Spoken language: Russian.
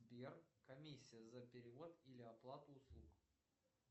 сбер комиссия за перевод или оплату услуг